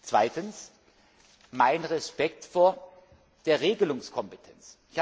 ist. Zweitens mein Respekt vor der Regelungskompetenz.